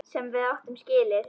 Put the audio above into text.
Sem við áttum skilið.